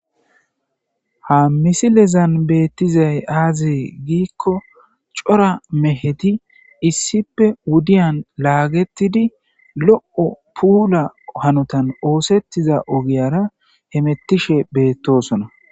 ha misilezan beettizay aaze giikko cora meheti issipe wudiyan laagettidi lo7o puula hanotan oosettiza ogiyara hemettishe beettosona.